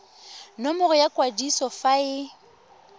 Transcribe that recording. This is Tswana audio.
nomoro ya kwadiso fa e